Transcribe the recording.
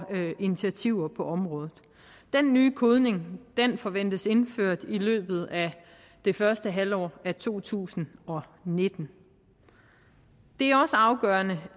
initiativer på området den nye kodning forventes indført i løbet af det første halvår af to tusind og nitten det er også afgørende